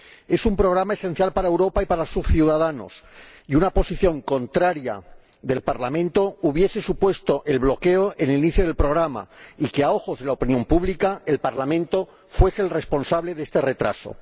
Es un programa esencial para Europa y para sus ciudadanos, y una posición contraria del Parlamento hubiese supuesto el bloqueo en el inicio del programa y el hecho de que, a ojos de la opinión pública, el Parlamento fuese el responsable de este retraso.